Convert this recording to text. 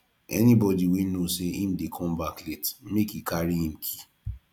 anybodi wey know sey im dey come back late make e carry im key